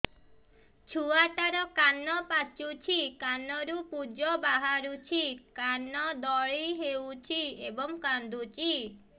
ଛୁଆ ଟା ର କାନ ପାଚୁଛି କାନରୁ ପୂଜ ବାହାରୁଛି କାନ ଦଳି ହେଉଛି ଏବଂ କାନ୍ଦୁଚି